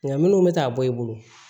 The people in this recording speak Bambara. Nka minnu bɛ taa bɔ i bolo